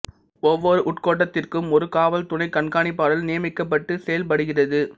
ஒவ்வொரு உட்கோட்டத்திற்கும் ஒரு காவல் துணைக் கண்காணிப்பாளர் நியமிக்கப்பட்டு செயல்படுகிறது